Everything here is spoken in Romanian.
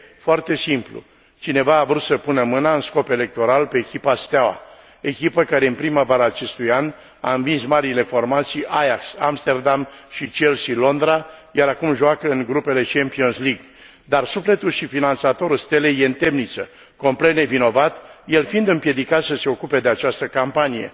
Foarte simplu cineva a vrut să pună mâna, în scop electoral, pe echipa Steaua, echipă care în primăvara acestui an a învins marile formații Ajax Amsterdam și Chelsea Londra, iar acum joacă în grupele Champions League. Dar sufletul și finanțatorul Stelei este în temniță, complet nevinovat, el fiind împiedicat să se ocupe de această campanie.